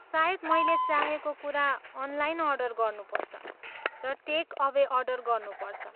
सायद मैले चाहेको कुरा अनलाइन अर्डर गर्नुपर्छ र टेक अवे अर्डर गर्नुपर्छ।